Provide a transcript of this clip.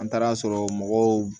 An taara sɔrɔ mɔgɔw